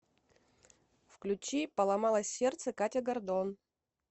включи поломалось сердце катя гордон